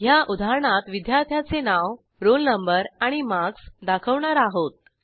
ह्या उदाहरणात विद्यार्थ्याचे नाव रोल नंबर आणि मार्क्स दाखवणार आहोत